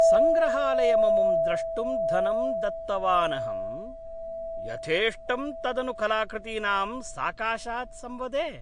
सङ्ग्रहालयममुं द्रष्टुं धनं दत्तवानहम् , यथेष्टं तदनु कलाकृतीनां साकाशात् संवदे!